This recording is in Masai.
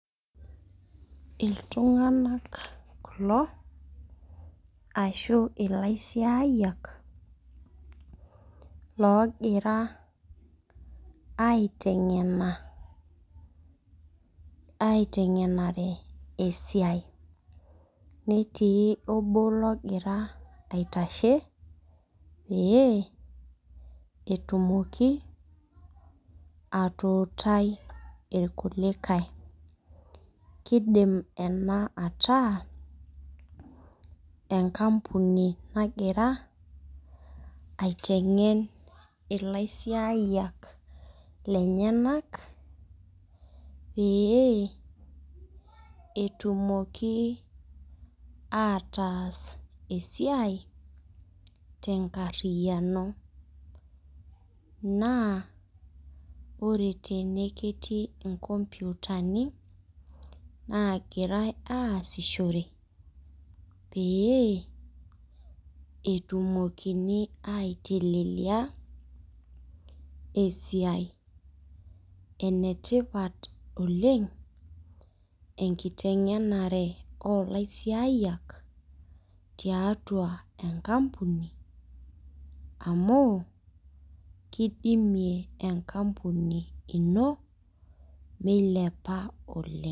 Iltunganak kulo ashubilaisiayiak logira aitengena aitengenare esiai netii obo ogira aitashe pee etumoki atuutai irkulikae kidim enaa ataa enkampuni nagira aitengen ilaisiayak lenyenak pee etumoki ataas esiai tenkariano na ore tenw ketiu inkomputani nagirai aasishore petumokini aitelelia esiai enetipat oleng enkitengenare olaisiayiak tiatua enkampuni amu kidimie enkampuni ino meilepa oleng.